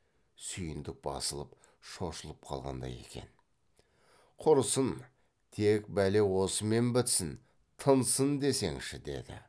сүйіндік басылып шошылып қалғандай екен құрсын тек бәле осымен бітсін тынсын десеңші деді